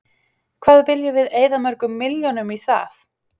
Hvað viljum við eyða mörgum milljónum í það?